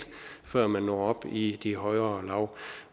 før man når op i de højere lag